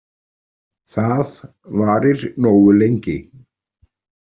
Það varir nógu lengi.